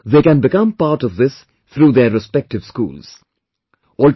One, they can become part of this through their respective schools